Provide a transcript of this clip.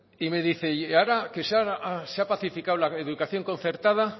y me dice se ha pacificado la educación concertada